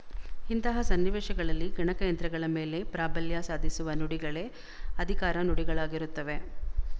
ಇಂತಹ ಸನ್ನಿವೇಶಗಳಲ್ಲಿ ಗಣಕಯಂತ್ರಗಳ ಮೇಲೆ ಪ್ರಾಬಲ್ಯ ಸಾಧಿಸುವ ನುಡಿಗಳೇ ಅಧಿಕಾರ ನುಡಿಗಳಾಗಿರುತ್ತವೆ